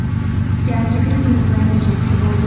иә жүгіру күні бәрі жақсы болды